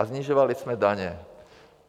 A snižovali jsme daně.